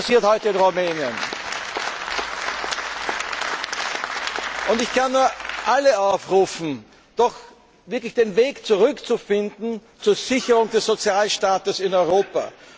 Und das passiert heute in Rumänien. Ich kann nur alle aufrufen, doch wirklich den Weg zurück zu finden zur Sicherung des Sozialstaates in Europa.